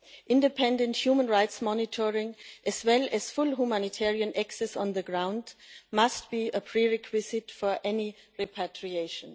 Independent human rights monitoring, as well as full humanitarian access on the ground, must be a prerequisite for any repatriation.